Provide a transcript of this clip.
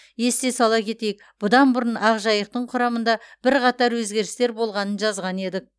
есте сала кетейік бұдан бұрын ақжайықтың құрамында бірқатар өзгерістер болғанын жазған едік